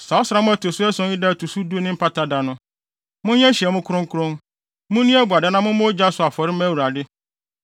“Saa ɔsram a ɛto so ason yi da a ɛto so du ne Mpata Da no. Monyɛ nhyiamu kronkron, munni abuada na mommɔ ogya so afɔre mma Awurade